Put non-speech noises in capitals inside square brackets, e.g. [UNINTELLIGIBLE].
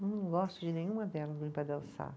Não gosto de nenhuma delas, [UNINTELLIGIBLE]